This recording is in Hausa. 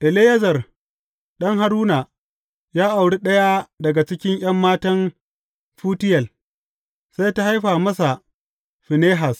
Eleyazar ɗan Haruna, ya auri ɗaya daga cikin ’yan matan Futiyel, sai ta haifa masa Finehas.